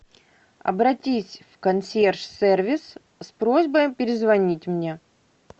обратись в консьерж сервис с просьбой перезвонить мне